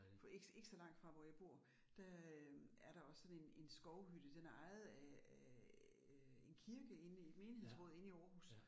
For ikke så ikke så langt fra hvor jeg bor, der øh er der også sådan en en skovhytte, den er ejet af af øh en kirke inde i menighedsrådet inde i Aarhus